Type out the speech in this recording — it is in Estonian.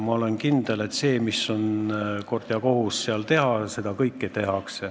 Ja ma olen kindel, et kõike seda, mida on kord ja kohus seal teha, ka tehakse.